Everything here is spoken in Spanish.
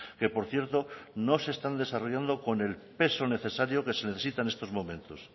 que por cierto no se están desarrollando con el peso necesario que se necesita en estos momentos